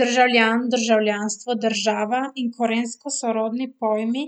Državljan, državljanstvo, država in korensko sorodni pojmi